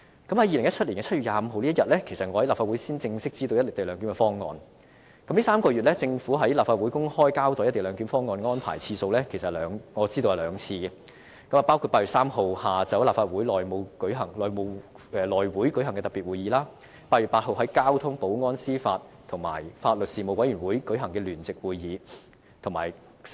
2017年7月25日當日，其實我在立法會才正式知道"一地兩檢"的方案，這3個月來，政府在立法會公開交代"一地兩檢"方案安排的次數，我知道有兩次，包括8月3日下午在立法會內務委員會舉行的特別會議和在8月8日由交通、保安、司法及法律事務委員會舉行的聯席會議。